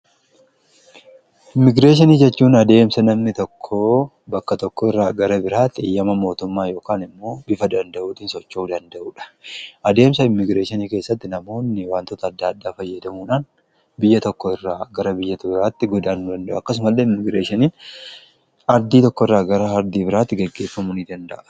immigireeshanii jechuun adeemsa namni tokkoo bakka tokko irraa gara biraatti eyyama mootummaa yookaan immoo bifa danda'uutiin socho'u danda'uudha adeemsa immigireeshanii keessatti namoonni waantoota adda addaa fayyadamuudhaan biyya tokko irraa gara biyyoota biraatti godaanu danda'u akkasumallee immigireeshaniin ardii tokko irraa gara ardii biraatti geggeeffamuu ni danda'a.